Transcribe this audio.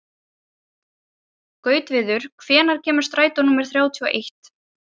Gautviður, hvenær kemur strætó númer þrjátíu og eitt?